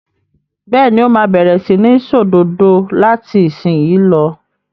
Bẹ́ẹ̀ ni, ó máa bẹ̀rẹ̀ sí ní ṣòdodo láti ìsìnyín lọ.